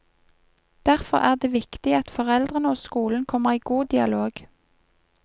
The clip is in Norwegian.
Derfor er det viktig at foreldrene og skolene kommer i god dialog.